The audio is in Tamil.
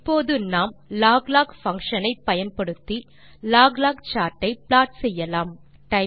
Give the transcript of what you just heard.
இப்போது நாம் loglog பங்ஷன் ஐ பயன்படுத்தி log லாக் சார்ட் ஐ ப்ளாட் செய்யலாம்